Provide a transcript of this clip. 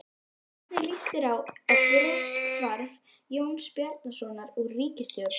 Hvernig líst þér á brotthvarf Jóns Bjarnasonar úr ríkisstjórn?